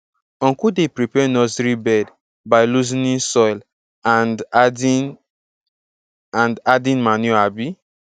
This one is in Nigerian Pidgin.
uncle dey prepare nursery bed by loosening soil and adding and adding manure um